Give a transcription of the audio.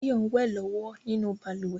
Báyọ̀ ń wẹ̀ lọ́wọ́ nínú balùwẹ̀